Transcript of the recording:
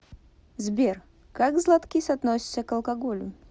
сбер как златкис относится к алкоголю